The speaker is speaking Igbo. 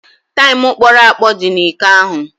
Taịm kpọrọ akpọ dị n'iko ahụ.